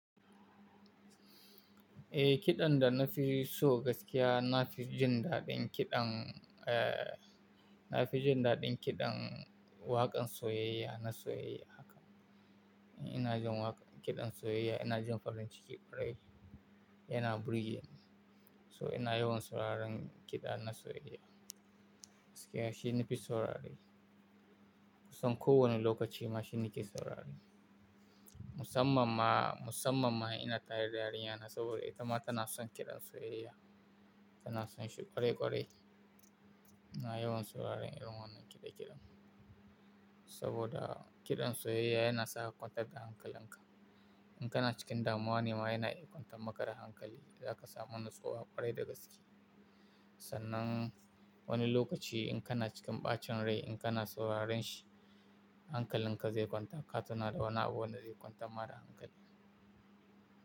Eh, kiɗan da na fi so gaskiya na fi jin daɗin kiɗan, eh, na fi jin daɗin kiɗan waƙar soyayya na soyayya haka. Ina jin waƙa-- kiɗan soyayya ina jin farin ciki ƙwarai. Yana burge ni. So ina yawan sauraron kiɗa na soyayya. Gaskiya shi na fi saurare Kusan kowane lokaci ma shi nake saurare Musamman ma, musamman ma ina tari yarinyana saboda ita ma tana son kiɗan soyayya. Tana son shi ƙwarai ƙwarai. Ina yawan sauraron irin wannan kiɗe-kiɗen. Saboda kiɗan soyayya yana sa ka kwantar da hankalin ka. In kana cikin damuwa ne ma yana iya kwantar makara hankali. Za ka samu natsuwa ƙwarai da gaske. Sannan wani lokaci in kana cikin ɓacin rai in kana sauraron shi, hankalin ka zai kwanta. Ka tuna da wani abu wanda zai kwantar ma da hankali.